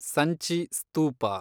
Sanchi ಸ್ತೂಪ